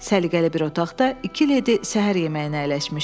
Səliqəli bir otaqda iki ledi səhər yeməyinə əyləşmişdi.